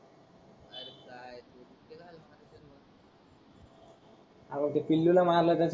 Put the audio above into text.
R ते पिलू ला मारल तर